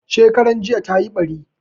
Shekaran jiya tayi ɓari.